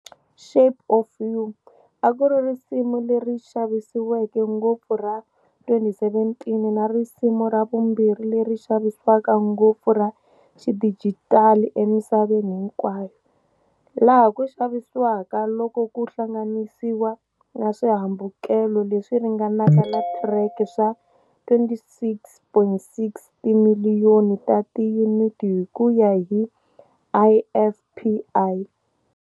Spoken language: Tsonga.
"Shape of You" a ku ri risimu leri xavisiweke ngopfu ra 2017 na risimu ra vumbirhi leri xavisiwaka ngopfu ra xidijitali emisaveni hinkwayo, laha ku xavisiwaka loko ku hlanganisiwa na swihambukelo leswi ringanaka na track swa 26.6 timiliyoni ta tiyuniti hi ku ya hi IFPI.